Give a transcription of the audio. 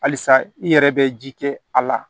Halisa i yɛrɛ bɛ ji kɛ a la